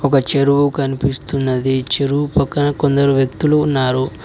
వ చెరువు కనిపిస్తున్నది చెరువు పక్కన కొందరు వ్యక్తులు ఉన్నారు.